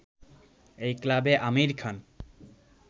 এই ক্লাবে আমির খান